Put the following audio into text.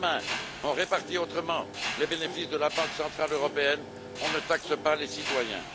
Si, demain, on répartit autrement les bénéfices de la Banque centrale européenne, on ne taxe pas les citoyens.